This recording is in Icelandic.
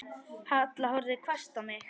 Halla horfði hvasst á mig.